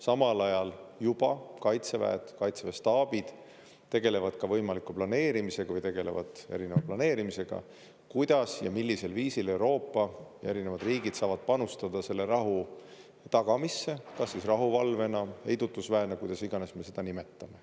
Samal ajal juba kaitseväed, kaitseväe staabid tegelevad ka võimaliku planeerimisega, tegelevad erinevad planeerimisega, kuidas ja millisel viisil Euroopa erinevad riigid saavad panustada rahu tagamisse, kas siis rahuvalvena, heidutusväena, kuidas iganes me seda nimetame.